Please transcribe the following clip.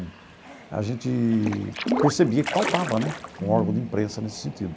A gente percebia que faltava né um órgão de imprensa nesse sentido.